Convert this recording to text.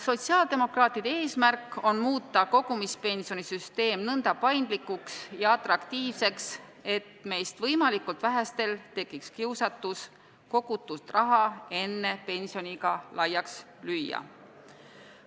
Sotsiaaldemokraatide eesmärk on muuta kogumispensioni süsteem nõnda paindlikuks ja atraktiivseks, et meist võimalikult vähestel tekiks kiusatus kogutud raha enne pensioniiga laiaks lüüa.